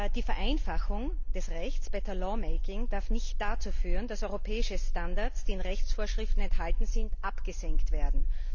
Die Vereinfachung des Rechts better lawmaking darf nicht dazu führen, dass europäische Standards, die in Rechtsvorschriften enthalten sind, abgesenkt werden.